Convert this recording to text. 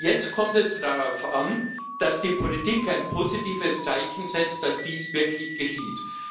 Jetzt kommt es darauf an, dass die Politik ein positives Zeichen setzt, dass dies wirklich geschieht.